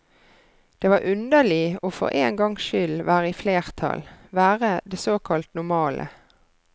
Det var underlig å for en gangs skyld være i flertall, være det såkalt normale.